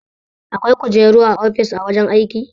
Akwai kujeru a ofis a wajen aiki.